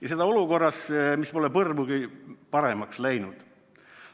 Ja seda olukorras, mis pole põrmugi paremaks läinud.